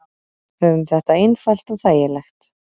Höfum þetta einfalt og þægilegt.